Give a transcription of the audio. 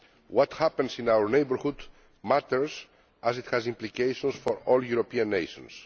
What happens in our neighbourhood matters, as it has implications for all European nations.